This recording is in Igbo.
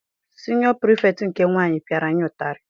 Siniọ pirifektị nke nwaanyị piara anyị ụtarị.